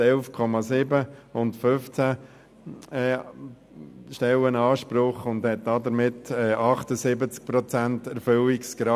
Die SP hat 11,7 Stellen und einen Anspruch auf 15 Stellen und einen Erfüllungsgrad von 78 Prozent.